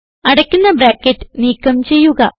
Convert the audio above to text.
അടയ്ക്കുന്ന ബ്രാക്കറ്റ് നീക്കം ചെയ്യുക